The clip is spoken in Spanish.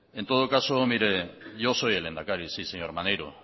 en todo caso yo soy el lehendakari señor maneiro